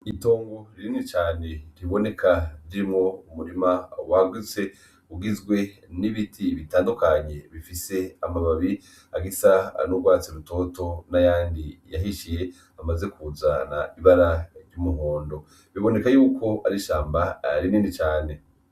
Itongo rinini cane riboneka ririmwo umurima wagutse ugizwe n' ibiti bitandukanye bifise amababi agisa n' ugwatsi rutoto nayandi yahishiye amaze kuzana ibara ry' umuhondo, biboneka yuko arishamba rinini cane.